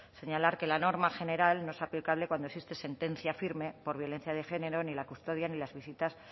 señalar que la norma general no es aplicable cuando existe sentencia firme por violencia de género ni la custodia ni las visitas